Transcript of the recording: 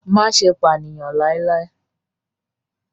Má ṣe pànìyàn láíláí!